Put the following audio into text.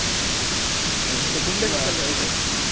ಮತ್ತೆ ಗುಂಡೆಸತ.